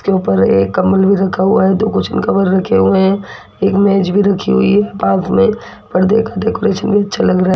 ऊपर एक कंबल भी रखा हुआ है दो कुशन कवर रखे हुए हैं एक मेज भी रखी हुई है पास में परदे का डेकोरेशन भी अच्छा लग रहा है।